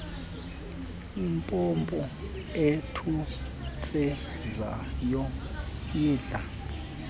impompo ethontsizayo idla